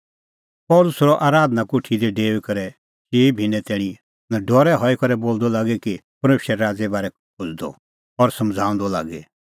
पल़सी रहअ आराधना कोठी दी डेऊई करै चिई भिन्नैं तैणीं नडरै हई करै बोलदअ लागी और परमेशरे राज़े बारै खोज़दअ और समझ़ाऊंदअ लागी